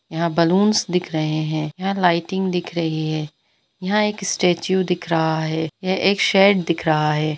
यहां बलून्स दिख रहे है यहां लाइटिंग दिख रही है यहां एक स्टैचू दिख रहा है यह एक शेड दिख रहा है।